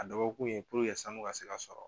A dɔ bɔkun ye puruke sanu ka se ka sɔrɔ